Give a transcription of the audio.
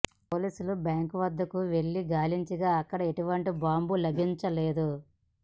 పోలీసులు బ్యాంకు వద్దకు వెళ్లి గాలించగా అక్కడ ఎటువంటి బాంబు లభించలేదు